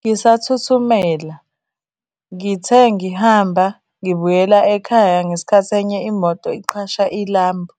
Ngisathuthumela, ngithe ngihamba ngibuyela ekhaya ngesikhathi enye imoto iqhasha ilambu